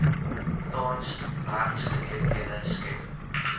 tans werksgeleenthede skep